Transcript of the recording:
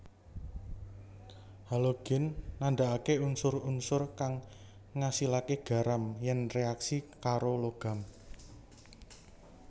Halogen nandhakaké unsur unsur kang ngasilaké garam yèn reaksi karo logam